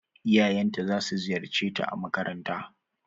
Iyayen ta za su ziyarce ta a makaranta.